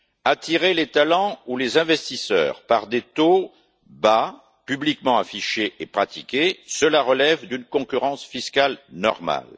Attirer les talents ou les investisseurs par des taux bas, publiquement affichés et pratiqués, cela relève d'une concurrence fiscale normale.